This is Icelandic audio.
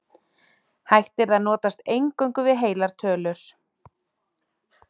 Hægt yrði að notast eingöngu við heilar tölur.